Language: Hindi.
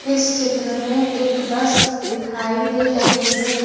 इस चित्र में एक बस दिखाई दे रही है।